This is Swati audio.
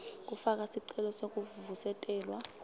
kufaka sicelo sekuvusetelwa